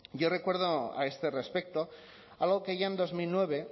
yo recuerdo a este respecto algo que ya en dos mil nueve